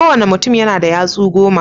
Ko wanna mutum yana da yatsu goma.